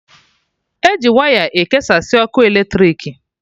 Eji waya ekesasị ọkụ eletrik